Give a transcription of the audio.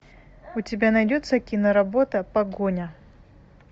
у тебя найдется киноработа погоня